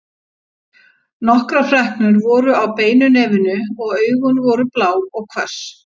Nokkrar freknur voru á beinu nefinu og augun voru blá og hvöss.